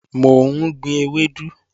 Mò ń gbin ewédú